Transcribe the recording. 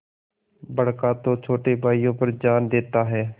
बड़का तो छोटे भाइयों पर जान देता हैं